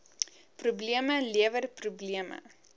probleme lewer probleme